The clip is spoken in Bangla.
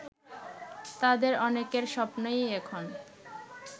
তাদের অনেকের স্বপ্নই এখন